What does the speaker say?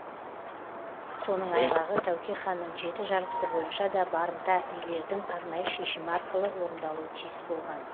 соның айғағы тәуке ханның жеті жарғысы бойынша да барымта билердің арнайы шешімі арқылы орындалуы тиіс болған